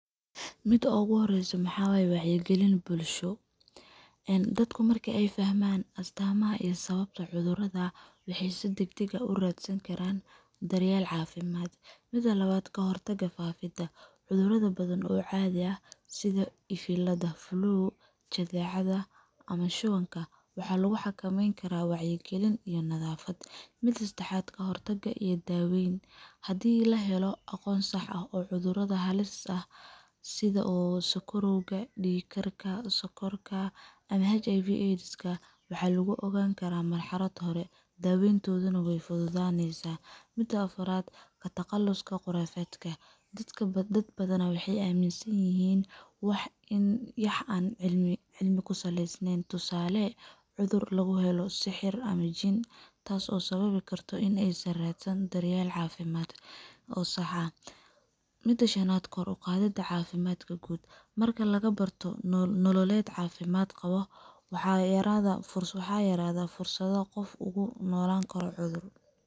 Miidi ogu horeyso waxa waye wacyagalin bulsho een dadku markii ay fahmaan astaamaha iyo sababta cudurrada wixiisa degdega u raadsan karaan daryeel caafimaad. mida labaad ka hortaga faafidda cudurrada badan oo caadi ah sida ifilada flu, jadeecada, ama shuwanka wax lagu xakameyn karaa wacyigelin iyo miidi saddexaad ka hortagga iyo daweyn haddii la helo aqoonsaxa oo cudurrada halis ah sida uu sakorowga, dhiig karka ,sonkorka ama HIV AIDS waxa lagu ogaan karaa marxalad hore daweyntoodana neh way fududaanaysaa, miida afaraad ka taqaluska qoraafeedka dad badan waxay amin san yihin lagu ogaan karaa marxalad hore daweyntoodana way fududaanaysaa midda afaraad ka taqaluska qoraafeedka dadka dad badan oo la aaminsan yihiin wax in yax aan cilmi ku saleysneyn tusaale cudur lagu helo sixir ama jin taas oo sababi karto in aysan raadsan daryeel caafimaad oo saxa aah midda shanaad kor u qaadidda caafimaadka guud marka laga barto nool nololeed caafimaad qabo waxaa iraahda fursaha yaraada fursado qof ugu noolaan karo cudur.